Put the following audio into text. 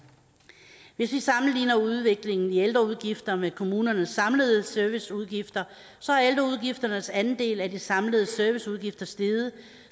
hvis vi sammenligner udviklingen i ældreudgifter med kommunernes samlede serviceudgifter så er ældreudgifternes andel af de samlede serviceudgifter steget